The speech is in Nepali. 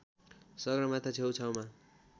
सगरमाथा छेउछाउमा